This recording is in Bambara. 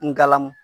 Ngala